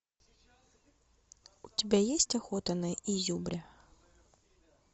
у тебя есть охота на изюбря